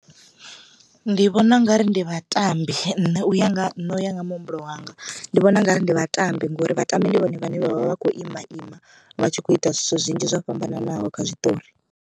Ndi vhona ungari ndi vhatambi nṋe uya nga ha nṋe u ya nga muhumbulo wanga ndi vhona ungari ndi vhatambi ngori vhatambi ndi vhone vhane vhavha vhakho ima ima vhatshi kho ita zwithu zwinzhi zwo fhambananaho kha zwiṱori.